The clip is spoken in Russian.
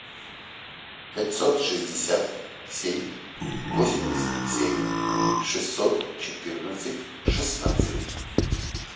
пятьсот шестьдесят семь восемьдесят семь шестьсот четырнадцать шестнадцать